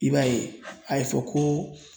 I b'a ye a ye fɔ ko